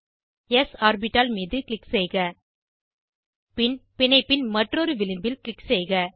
ஸ் ஆர்பிட்டால் மீது க்ளிக் செய்க பின் பிணைப்பின் மற்றொரு விளிம்பில் க்ளிக் செய்க